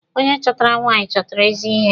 Onye chọtara nwaanyị chọtara ezi ihe.